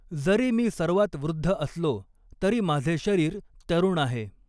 जरी मी सर्वात वृद्ध असलो तरी माझे शरीर तरुण आहे.